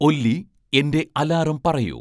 ഒല്ലി എന്റെ അലാറം പറയൂ